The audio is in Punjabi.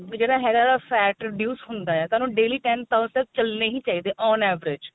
ਜਿਹੜਾ ਹੈਗਾ ਵਾ fat reduce ਹੁੰਦਾ ਆ ਤੁਹਾਨੂੰ daily ten thousand ਤੱਕ ਚਲਣੇ ਹੀ ਚਾਹੀਦੇ on average